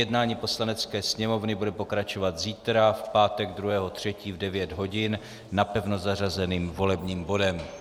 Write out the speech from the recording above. Jednání Poslanecké sněmovny bude pokračovat zítra, v pátek 2. 3. v 9.00 hodin, napevno zařazeným volebním bodem.